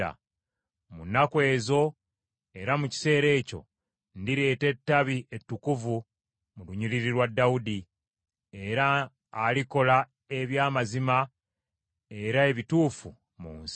“ ‘Mu nnaku ezo era mu kiseera ekyo ndireeta Ettabi ettukuvu mu lunyiriri lwa Dawudi era alikola eby’amazima era ebituufu mu nsi.